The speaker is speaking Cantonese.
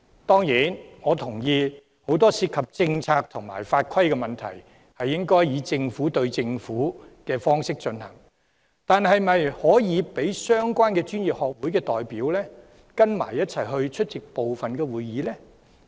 當然，我認同很多涉及政策和法規的問題應該以"政府對政府"的方式處理，但是否可以讓相關專業學會的代表一同出席部分會議？